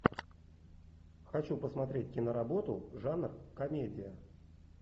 хочу посмотреть киноработу жанр комедия